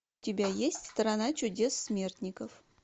у тебя есть страна чудес смертников